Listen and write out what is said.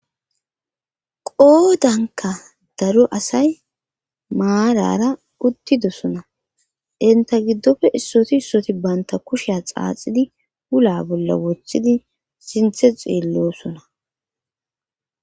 qoodanka daru asay maarara uttidosona inta giddofe issoti issoti baynta kusha xaaxidi hula bolla wothidi sinthe xeellosona